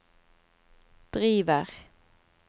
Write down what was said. driver